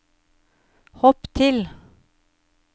hopp til